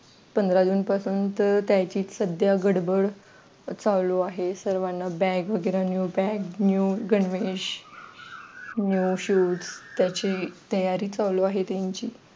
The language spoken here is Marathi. पंधरा जून पासून तर त्यांची सध्या गडबड चालू आहे. सर्वांना bag वगैरे new bag new गणवेश new shoes त्याची तयारी चालू आहे त्यांची